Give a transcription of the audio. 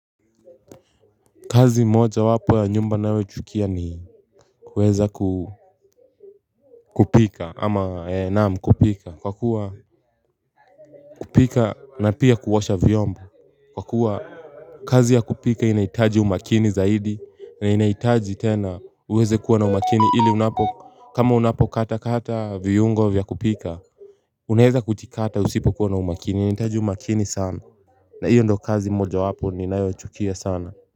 Kazi moja wapo ya nyumba nayoichukia ni kuweza ku kupika ama naam kupika. Kwa kuwa kupika na pia kuosha vyomba. Kwa kuwa kazi ya kupika inaitaji umakini zaidi na inaitaji tena uweze kuwa na umakini ili unapo kama unapo kata kata viungo vya kupika. Unaeza kuchikata usipo kuwa na umakini inaitaji umakini sana na hiyo ndo kazi moja wapo ninayochukia sana.